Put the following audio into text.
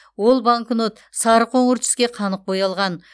ол банкнот сары қоңыр түске қанық боялған